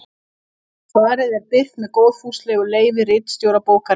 Svarið er birt með góðfúslegu leyfi ritstjóra bókarinnar.